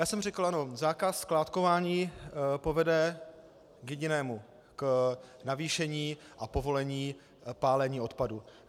Já jsem řekl, že zákaz skládkování povede k jedinému - k navýšení a povolení pálení odpadu.